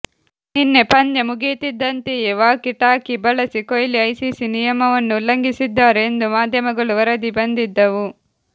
ನಿನ್ನೆ ಪಂದ್ಯ ಮುಗಿಯುತ್ತಿದ್ದಂತೆಯೇ ವಾಕಿ ಟಾಕಿ ಬಳಸಿ ಕೊಹ್ಲಿ ಐಸಿಸಿ ನಿಯಮವನ್ನು ಉಲ್ಲಂಘಿಸಿದ್ದಾರೆ ಎಂದು ಮಾಧ್ಯಮಗಳು ವರದಿ ಬಂದಿದ್ದವು